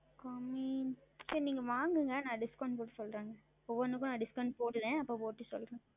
குறைவு சரி நீங்கள் வாங்குங்கள் நான் Discount செய்து சொல்லுகிறேன் ஒவ்வொன்றுக்கும் நான் Discount செய்கிறேன் அப்பொழுது செய்து சொல்லுகிறேன்